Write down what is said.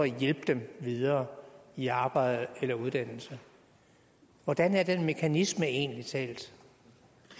hjælpe dem videre i arbejde eller uddannelse hvordan er den mekanisme egentlig talt